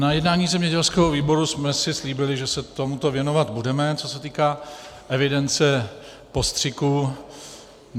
Na jednání zemědělského výboru jsme si slíbili, že se tomuto věnovat budeme, co se týká evidence postřiků.